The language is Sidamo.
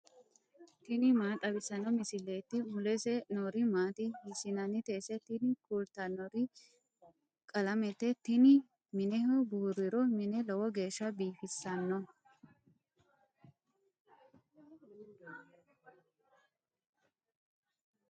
tini maa xawissanno misileeti ? mulese noori maati ? hiissinannite ise ? tini kultannori qalamete. tinino mineho buurriro mine lowo geeshsha biifisanno.